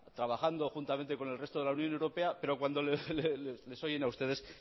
trabajando juntamente con el resto de la unión europea pero cuando les oyen a ustedes